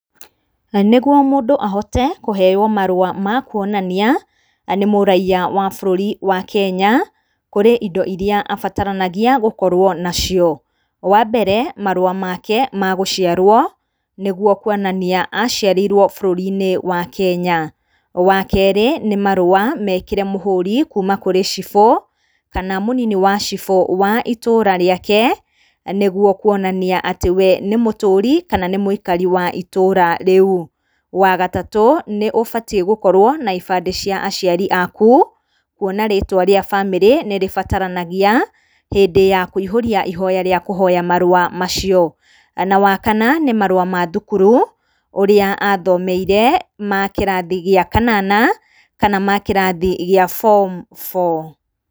Na nĩguo mũndũ ahote kũheywo marũa makuonania nĩ mũraiya wa bũrũri wa Kenya, kũrĩ indo iria abataranagia gũkorwo nacio, wa mbere marũa make magũciarwo, nĩguo kuonania aciarĩirwo bũrũri-inĩ wa Kenya, wa kerĩ nĩ marũa mekĩre mũhũri kuuma kũrĩ cibũ kana mũnini wa cibũ wa itũra rĩake, nĩguo kuonania atĩ we nĩ mũtũrĩ kana nĩ mũikari wa itũra rĩu, wa gatatũ nĩ ũbatiĩ gũkorwo na ibandĩ cia aku kuona rĩtwa rĩa bamĩrĩ nĩ rĩbataranagia, hĩndĩ ya kũihũria ihoya rĩa kũihũria mahoya macio, na wakana nĩ marua ma thukuru, ũrĩa athomeire ma kĩrathi gĩa kanana, kana makĩrathi gĩa form four.